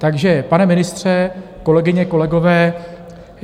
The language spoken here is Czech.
Takže pane ministře, kolegyně, kolegové.